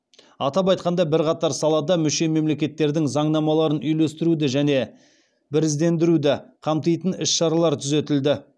атап айтқанда бірқатар салада мүше мемлекеттердің заңнамаларын үйлестіруді және біріздендіруді қамтитын іс шаралар түзетілді